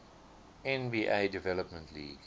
nba development league